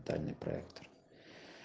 дай мне проектор